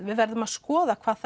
við verðum að skoða hvað